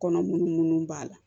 Kɔnɔ munnu b'a la